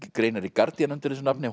greinar í Guardian undir þessu nafni